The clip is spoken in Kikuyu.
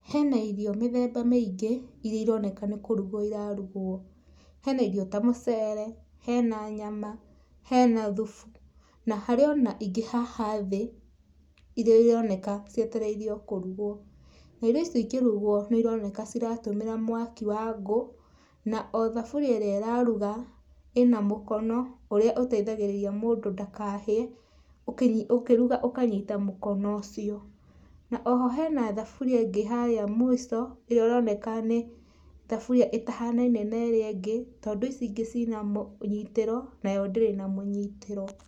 Hena irio mĩthemba mĩingĩ iria ironeka nĩkũrugwo irarugwo, hena irio ta mũcere, hena nyama, hena thubu na harĩ ona ingĩ haha thĩ iria ironeka cietereirio kũrugwo, na irio ici ikĩrugwo, nĩ cironeka cirahũthĩra mwaki wa ngũ na othaburia ĩrĩa ĩraruga, ĩna mũkono ũrĩa ũteithagĩrĩria mũndũ ndakahĩe, ũkĩruga ũkanyita mũkono ũcio. O ho hena thaburia ĩngĩ harĩa mũici ĩrĩa ĩronekana, thaburia ĩtahanaine na ĩrĩa ĩngĩ tondũ ici ingĩ cina mũnyitĩro ,nayo ndĩrĩ na mũnyitĩro.